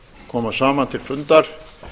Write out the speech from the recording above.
koma saman til fundar